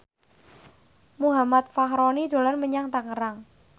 Muhammad Fachroni dolan menyang Tangerang